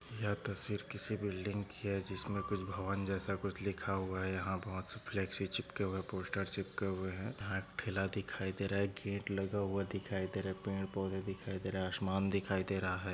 यह तस्वीर किसी बिल्डिंग की है जिसमे कुछ भवन जैसा कुछ लिखा हुआ है यहा बहुत सी चिपके हुए है पोस्टर चिपके हुए है यहा ठेला दिखाई दे रहा है गेट लगा हुआ दिखाई दे रहा है पेड़ पौधे दिखाई दे रहा है आसमान दिखाई दे रहा है।